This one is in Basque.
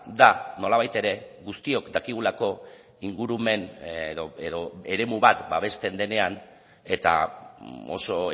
da nolabait ere guztiok dakigulako ingurumen edo eremu bat babesten denean eta oso